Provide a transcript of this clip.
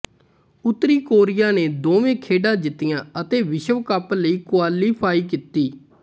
ਉੱਤਰੀ ਕੋਰੀਆ ਨੇ ਦੋਵੇਂ ਖੇਡਾਂ ਜਿੱਤੀਆਂ ਅਤੇ ਵਿਸ਼ਵ ਕੱਪ ਲਈ ਕੁਆਲੀਫਾਈ ਕੀਤੀ